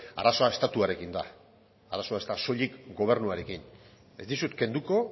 arazoa estatuarekin da arazoa ez da soilik gobernuarekin ez dizut kenduko